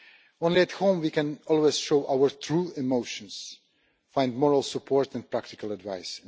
Only at home can we always show our true emotions and find moral support and practical advice.